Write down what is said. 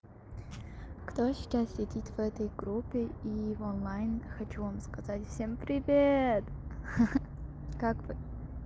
кто сейчас сидит в этой группе и в онлайн хочу вам сказать всем привет ха-ха как вы